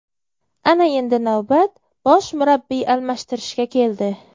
Ana endi navbat bosh murabbiy almashtirishga keldi.